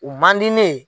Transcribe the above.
U man di ne ye